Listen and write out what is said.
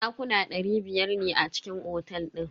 Dakuna dari biyar ne a cikin otel din.